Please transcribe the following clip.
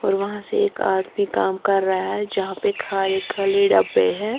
और वहां से एक आदमी काम कर रहा है जहां पे खाली-खाली डब्बे हैं।